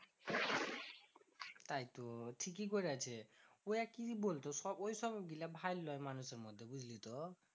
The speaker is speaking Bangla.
তাই তো ঠিকই করেছে। ওরা কি বলতো? সব ওই সবগুলা ভাল নয় মানুষের মধ্যে বুঝলি তো?